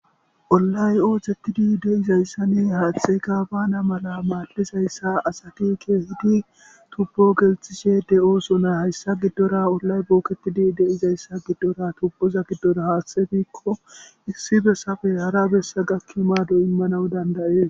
Olay oothettidi deizayssa ni haaththeyka baana mala maaddizayssa asati ke hidi tubpo gelthishe de'osona hayssa giddora olay bookettidi deizayssa giddora tubboza giddora haaththefikko issi be safe hara bessa gakki maado immanawu dandayee